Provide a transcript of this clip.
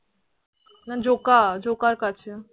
না জোকা, জোকার কাছে।